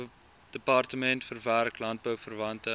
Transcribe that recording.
departement verwerk landbouverwante